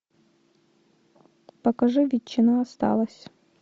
покажи ветчина осталась